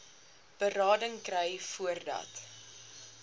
berading kry voordat